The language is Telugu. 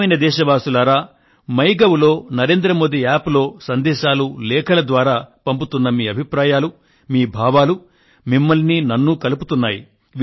ప్రియమైన నా దేశ వాసులారా మై గవ్ లో నరేంద్ర మోదీ యాప్ లో సందేశాలు లేఖల ద్వారా పంపుతున్న మీ అభిప్రాయాలు మీ భావాలు మిమ్మల్నీ నన్ను కలుపుతున్నాయి